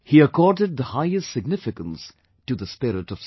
He accorded the highest significance to the spirit of service